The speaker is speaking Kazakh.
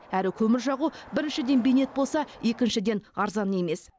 әрі көмір жағу біріншіден бейнет болса екіншіден арзан емес